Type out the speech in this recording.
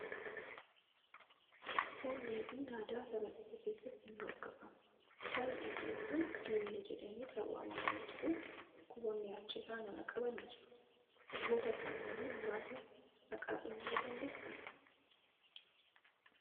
Foon dheedhiin aadaa saba tokko keessatti ni hordofama. Foon dheedhiin kun diimina jedhamee kan waamamuu yoo ta'u, dhukkuboonni achi irraa nama qaban ni jiru. Dhukkuboota kanneen muraasa maqaa dhahuu ni dandeessaa?